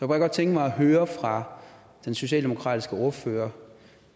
bare godt tænke mig at høre fra den socialdemokratiske ordfører